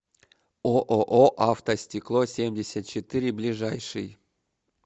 ооо автостекло семьдесят четыре ближайший